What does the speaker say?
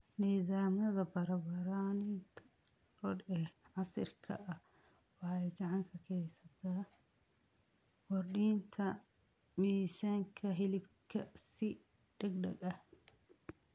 Nidaamyada barbaarinta lo'da ee casriga ah waxay gacan ka geystaan ????kordhinta miisaanka hilibka si degdeg ah.